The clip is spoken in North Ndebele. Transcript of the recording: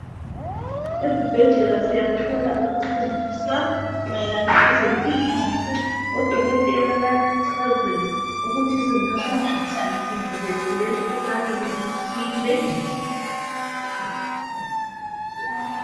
Ezibhedlela siyathola ukufundiswa mayelana lezempila kahle odokotela bayasichazela ukuthi singahlala njani sivikelekile emikhuhlaneni ethile